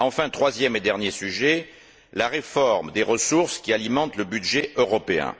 Enfin, troisième et dernier sujet, la réforme des ressources qui alimentent le budget européen.